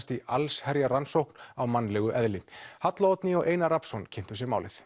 í allsherjarrannsókn á mannlegu eðli halla Oddný og Einar Rafnsson kynntu sér málið